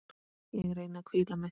Ég reyni að hvíla mig.